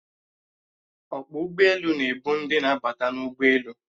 Ọkpọ ụgbọelu na-ebu ndị na-abata n'ụgbọelu